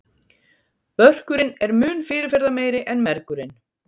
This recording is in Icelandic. Börkurinn er mun fyrirferðameiri en mergurinn.